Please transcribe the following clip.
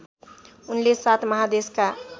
उनले सात महादेशका